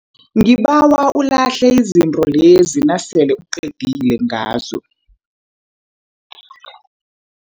Ngibawa ulahle izinto lezi nasele uqedile ngazo.